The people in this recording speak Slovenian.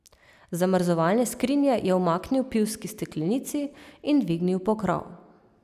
Z zamrzovalne skrinje je umaknil pivski steklenici in dvignil pokrov.